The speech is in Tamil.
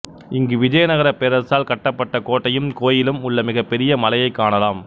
இங்கு விஜயநகரப் பேரரசால் கட்டப்பட்ட கோட்டையும் கோயிலும் உள்ள மிகப் பெரிய மலையைக் காணலாம்